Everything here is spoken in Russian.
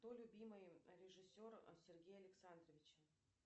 кто любимый режиссер сергея александровича